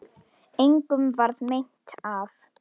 Engum varð meint af.